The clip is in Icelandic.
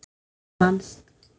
Það vannst.